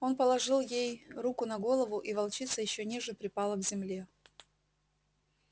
он положил ей руку на голову и волчица ещё ниже припала к земле